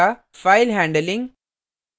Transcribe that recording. file handling